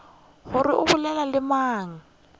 gore o bolela le mang